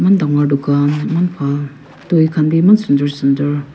maan dangor dukan maan bhal toy khan bi iman sundur sundur.